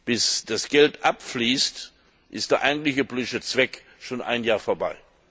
Bis das Geld abfließt, ist der eigentliche politische Zweck schon ein Jahr vorbei.